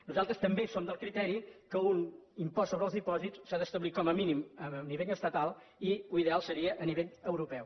nosaltres també som del criteri que un impost sobre els dipòsits s’ha d’establir com a mínim a nivell estatal i l’ideal seria a nivell europeu